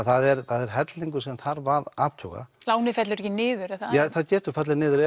það er það er hellingur sem þarf að athuga lánið fellur ekki niður er það það getur fallið niður